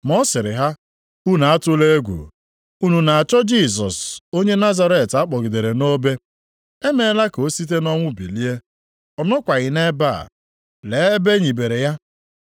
Ma ọ sịrị ha, “Unu atụla egwu. Unu na-achọ Jisọs onye Nazaret a kpọgidere nʼobe. E meela ka o site nʼọnwụ bilie! Ọ nọkwaghị nʼebe a. Lee ebe e nibere ya.